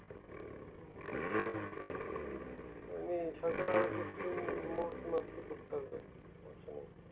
হম সকালে আরো কিছুদিন মোজ মস্তি করতে হবে এখানে